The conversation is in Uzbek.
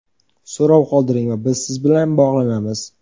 So‘rov qoldiring va biz siz bilan bog‘lanamiz!.